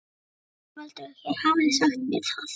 ÞORVALDUR: Þér hafið ekki sagt mér það.